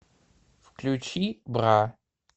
включи бра